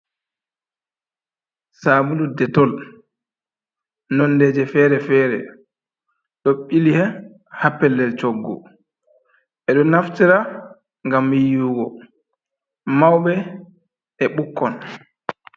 Sablu detol, nondeje fere-fere, ɗo ɓili ha pellel coggu. Ɓe ɗo naftira ngam yiwugo, mauɓe e bukkon.